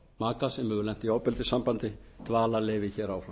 maka sem hefur lent í ofbeldissambandi dvalarleyfi hér áfram